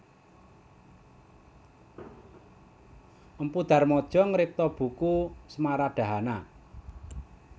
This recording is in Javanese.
Mpu Darmaja ngripta buku Smaradhahana